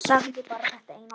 Sagði bara þetta eina orð.